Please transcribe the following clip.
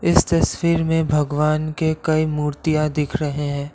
इस तस्वीर में भगवान के कई मूर्तियां दिख रहे हैं।